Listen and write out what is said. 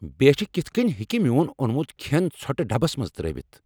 بیچھِ كِتھہٕ كٕنۍ ہیكہِ میون اونمُت كھین ژھوٹہٕ ڈبس منز ترٲوتھ؟